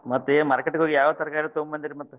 ಮತ್ತೇ market ಗೆ ಹೋಗಿ ಯಾವ್ ತರಕಾರಿ ತಗೋಬಂದಿರಿ ಮತ್?